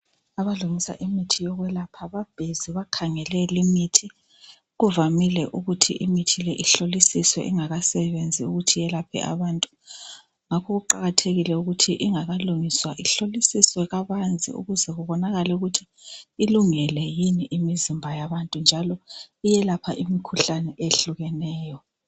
Abalungisa imithi yokwelapha babhizi bakhangele limithi. Kuvamile ukuthi imithi le ihlolisiswe ingakasebenzi ukuthi yelaphe abantu. Ngakho kuqakathekile ukuthi ingakalungiswa ihlolisiswe kabanzi ukuze kubonakale ukuthi ilungele yini imizimba yabantu njalo iyelapha imikhuhlane eyehlukeneyo.